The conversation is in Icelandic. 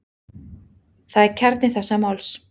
Það er kjarni þessa máls.